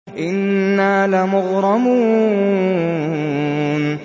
إِنَّا لَمُغْرَمُونَ